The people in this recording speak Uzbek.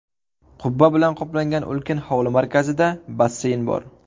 Qubba bilan qoplangan ulkan hovli markazida basseyn bor.